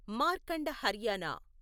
Markanda Haryana